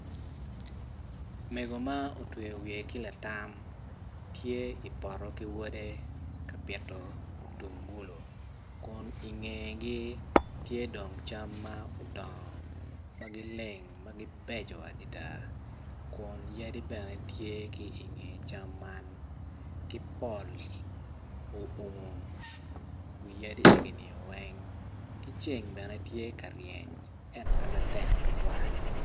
Mego ma otweyo wiye ki latam tye i poto ki wode ka pito mutungulu kun ingegi tye dong cam ma odongo ma gileng ma gibeco adida kun yadi bene tye ki inge cam man ki pol oumo wi yadi eginio weng ki ceng bene tye ka ryeny eno pe matek tutwal